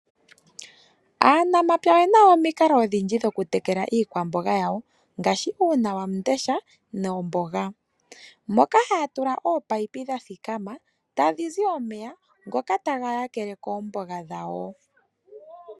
Aanamapya oye na omikalo odhindji dhokutekela iikwamboga yawo, ngaashi uunawamundesha, noomboga. Moka ohaya tula mo ominino dha thikama, tadhi zi omeya, ngoka taga yakele koomboga dhawo.